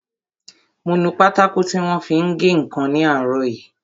Mo nu pátákò tí wọ́n fi ń gé ǹkan ní àárọ̀ yìí